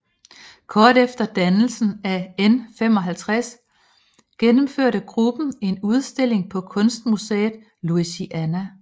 Kort efter dannelsen af N55 gennemførte gruppen en udstilling på kunstmuseet Louisiana